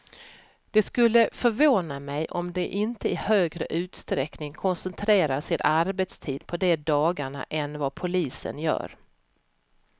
Det skulle förvåna mig om de inte i högre utsträckning koncentrerar sin arbetstid på de dagarna än vad polisen gör.